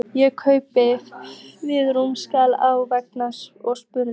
Ég kraup við rúmið, starði á vegginn og spurði